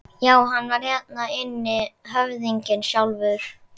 Já, hann var hérna inni, höfðinginn sjálfur!